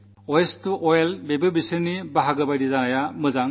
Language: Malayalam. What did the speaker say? മാലിന്യം സമ്പത്തിലേക്ക് എന്നതും അതിന്റെ ഭാഗമാകണം